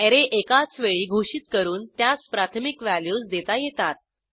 array एकाच वेळी घोषित करून त्यास प्राथमिक व्हॅल्यूज देता येतात